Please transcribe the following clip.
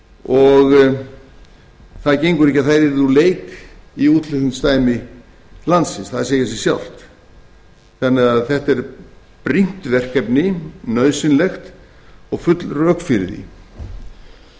og það gengur ekki að þær yrðu hreinlega úr leik í útflutningsdæmi landsins það segir sig sjálft þannig að þetta er brýnt verkefni nauðsynlegt og full rök fyrir því